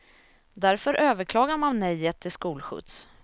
Därför överklagar man nejet till skolskjuts.